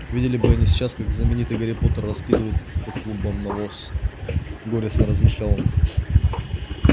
видели бы они сейчас как знаменитый гарри поттер раскидывает по клумбам навоз горестно размышлял он